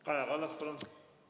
Kaja Kallas, palun!